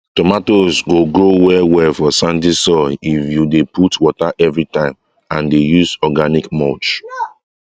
tomatoes go grow well well for sandy soil if you dey put water everytime and dey use organic mulch